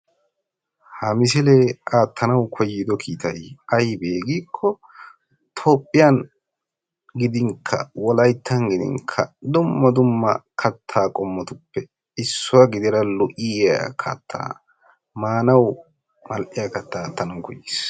ha misilee aatanawu koyido kiitay aybee giikko toophiyan gidinkka wolaytan gidin dumma dumma kataa qommotuppe issuwa gidida lo'iya kataa maanawu mal'iyaa kataa aattanawu koyiis.